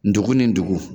Dugu ni dugu